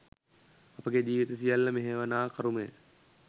අපගේ ජීවිත සියල්ල මෙහෙයවනා කරුමය